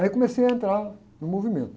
Aí comecei a entrar no movimento.